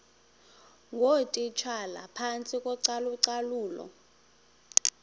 ngootitshala phantsi kocalucalulo